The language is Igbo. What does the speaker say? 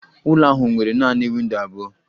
Ụlọ ahụ nwere nanị windo abụọ.